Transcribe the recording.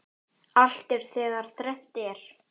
Allt er þegar þrennt er.